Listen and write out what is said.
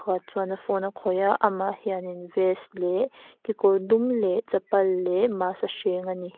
chuan a phone a khawih a amah hian in vest leh kekawr dum leh chappal leh mask a hreng a ni.